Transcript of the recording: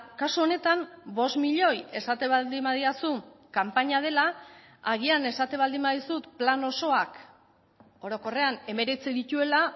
kasu honetan bost milioi esaten baldin badidazu kanpaina dela agian esaten baldin badizut plan osoak orokorrean hemeretzi dituela